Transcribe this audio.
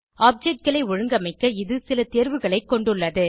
objectகளை ஒழுங்கமைக்க இது சில தேர்வுகளைக் கொண்டுள்ளது